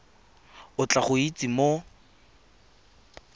o tla go itsise mo